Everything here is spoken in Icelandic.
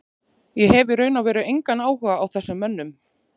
Ég hef í raun og veru engan áhuga á þessum mönnum.